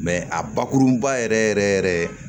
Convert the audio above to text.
a bakurunba yɛrɛ yɛrɛ yɛrɛ